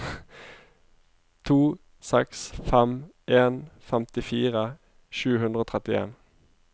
to seks fem en femtifire sju hundre og trettien